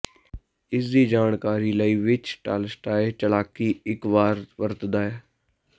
ਇਸ ਦੀ ਜਾਣਕਾਰੀ ਲਈ ਵਿੱਚ ਟਾਲਸਟਾਏ ਚਲਾਕੀ ਇੱਕ ਵਾਰ ਵਰਤਦਾ ਹੈ